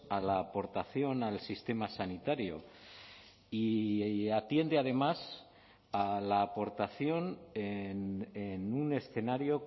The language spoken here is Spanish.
a la aportación al sistema sanitario y atiende además a la aportación en un escenario